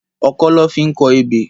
Òkõ lõ fi n kò ébé